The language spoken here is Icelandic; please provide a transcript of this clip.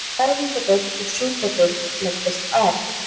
Fæðingardeild og sjúkradeild leggjast af